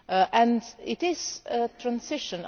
And it is a transition.